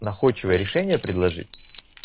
находчивый решения предложить